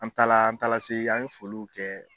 An taara an taara se an ye foliw kɛ.